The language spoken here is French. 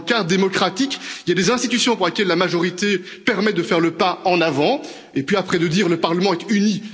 Dans le cadre démocratique, il y a des institutions pour lesquelles la majorité permet de faire le pas en avant et puis après de dire que le Parlement est uni.